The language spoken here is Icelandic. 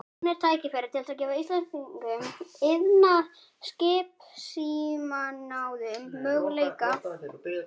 Nú er tækifæri til að gefa íslenskum iðnaði, skipasmíðaiðnaðinum, möguleika á að rétta úr kútnum.